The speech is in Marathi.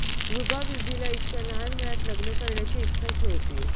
रुबा बिबीला इतक्या लहान वयात लग्न करण्याची इच्छाच नव्हती